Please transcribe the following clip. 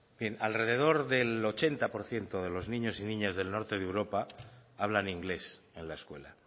bien alrededor del ochenta por ciento de los niños y niñas del norte de europa hablan inglés en la escuela